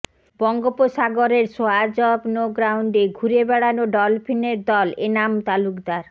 বঙ্গোপসাগরের swatch of no গ্রাউন্ডে ঘুরে বেড়ানো ডলফিনের দল এনাম তালুকদার